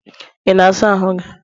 ị na-asa ahụ gị?